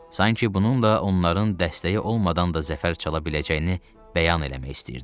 Sanki bununla onların dəstəyi olmadan da zəfər çala biləcəyini bəyan eləmək istəyirdi.